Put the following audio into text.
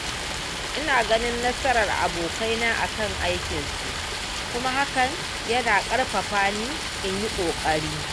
Ina ganin nasarar abokaina a kan aikinsu kuma hakan yana ƙarfafa ni in yi ƙoƙari.